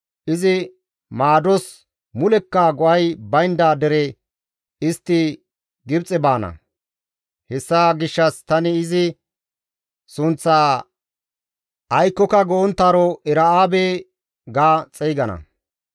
izi maados mulekka go7ay baynda dere istti Gibxe baana; hessa gishshas tani izi sunththaa «Aykkoka go7onttaaro Era7aabe» ga xeygana.